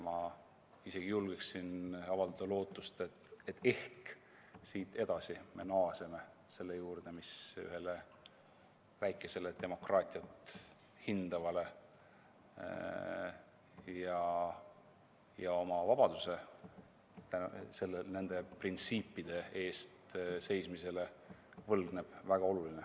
Ma isegi julgen avaldada lootust, et ehk siit edasi me naaseme selle juurde, mis ühele väikesele demokraatiat hindavale ja oma vabaduse nende printsiipide eest seismisele võlgnevale riigile on väga oluline.